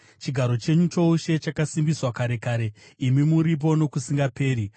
Chigaro chenyu choushe chakasimbiswa kare kare; imi muripo nokusingaperi.